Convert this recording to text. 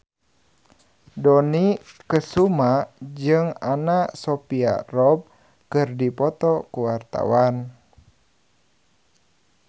Dony Kesuma jeung Anna Sophia Robb keur dipoto ku wartawan